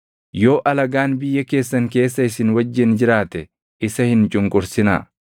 “ ‘Yoo alagaan biyya keessan keessa isin wajjin jiraate isa hin cunqursinaa.